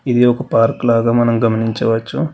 ఇది ఒక పార్కు లాగా మనం గమనించవచ్చు.